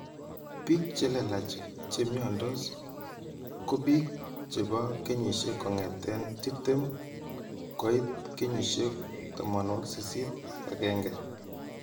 Biik chelelach chemyandos ko biik chebo kenyisyeek kongeten 20 koit kenyisiek 81